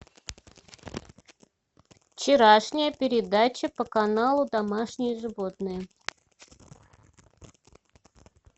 вчерашняя передача по каналу домашние животные